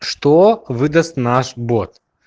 что выдаст наш бот